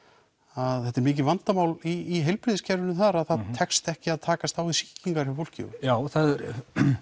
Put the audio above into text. að þetta er mikið vandamál í heilbrigðiskerfinu þar að það tekst ekki að takast á við sýkingar hjá fólki já það er